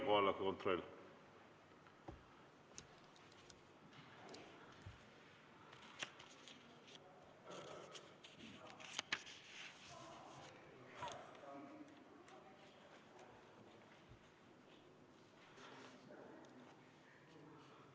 Kohaloleku kontroll!